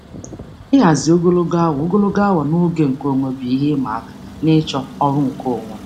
Ịhazi ogologo awa ogologo awa na oge nkeonwe bụ ihe ịma aka n'ịchọ ọrụ nkeonwe.